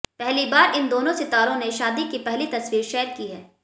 पहली बार इन दोनों सितारों ने शादी की पहली तस्वीर शेयर की है